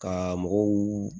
Ka mɔgɔw